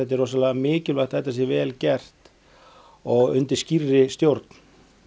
er rosalega mikilvægt að þetta sé vel gert og undir skýrri stjórn